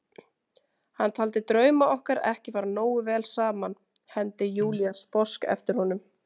Hann taldi drauma okkar ekki fara nógu vel saman, hermdi Júlía sposk eftir honum.